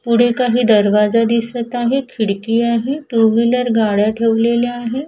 पुढे काही दरवाजा दिसत आहे खिडकी आहे टू व्हीलर गाड्या ठेवलेल्या आहे.